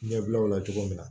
Ɲɛbilaw la cogo min na